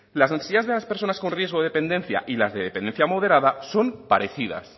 las necesidades de las personas con riesgo de dependencia y las de dependencia modera son parecidas